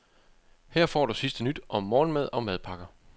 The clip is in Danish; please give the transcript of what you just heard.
Her får du sidste nyt om morgenmad og madpakker.